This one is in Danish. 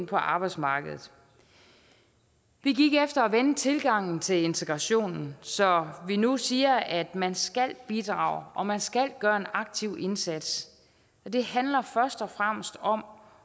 på arbejdsmarkedet vi gik efter at vende tilgangen til integrationen så vi nu siger at man skal bidrage og man skal gøre en aktiv indsats det handler først og fremmest om